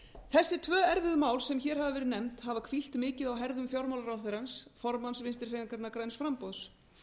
þessi tvö erfiðu mál sem hér hafa verið nefnd hafa hvílt mikið á herðum fjármálaráðherrans formanns vinstri hreyfingarinnar græns framboðs